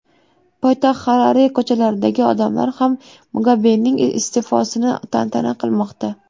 Poytaxt Xarare ko‘chalaridagi odamlar ham Mugabening iste’fosini tantana qilmoqda .